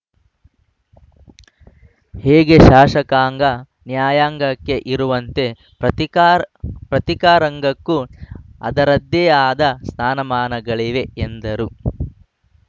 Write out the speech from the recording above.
ಹೇಗೆ ಶಾಸಕಾಂಗ ನ್ಯಾಯಾಂಗಕ್ಕೆ ಇರುವಂತೆ ಪತ್ರಿಕಾ ರಂಗಕ್ಕೂ ಅದರದ್ದೇ ಆದ ಸ್ಥಾನಮಾನಗಳಿವೆ ಎಂದರು